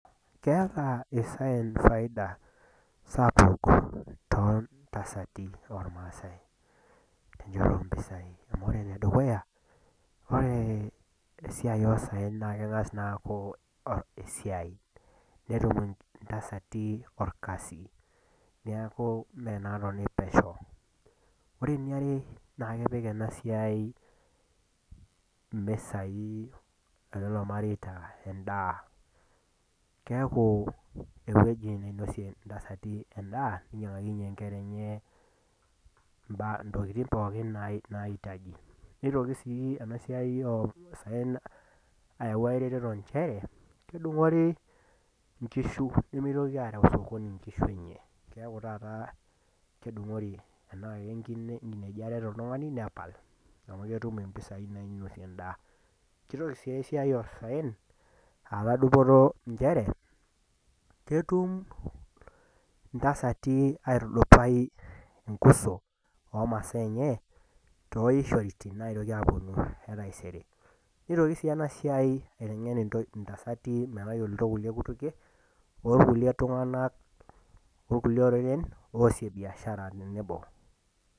Keata isaen faida sapuk too intasati olmaasai, tenchoto oo mpisai. Amu ore ene dukuya, ore esiai oosaen naa keng'as naa aaku esiai, netum intasati olkasi, neaku mee inaaatoni pesho. Ore ene are naa kepik ena siai imesai e lelo mareita endaa. Keaku ewueji neinosie intasati endaa, neinyang'akinye inkera enye intokitin pookin naitaji. Neitoki sii ena siai o saen ayau erertoto nchere, kedung'oori inkishu, nemeitoki aareu sokoni inkishu enye. Keaku taata tanaa kedung'oori inkinejik are eata oltung'ani, nepal amu ketum impisai nainotie endaa. Keitoki sii esiai oo saen aatau dupoto njere , ketum intasati aitudupai enkuso, oo masaa enye, tooishoiti naitoki aapuonu e taisere. Neitoki sii ena siai aiteng'en intasati metayoloutuo inkulie kutukie o kulie tung'anak, o kulie oreren naasie biashara tenebo.